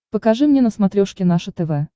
покажи мне на смотрешке наше тв